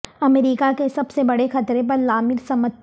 امریکہ کے سب سے بڑے خطرے پر لامر سمتھ